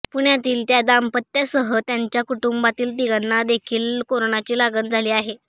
पुण्यातील त्या दाम्पत्यासह त्यांच्या कुटुंबातील तिघांना देखील कोरोनाची लागण झाली आहे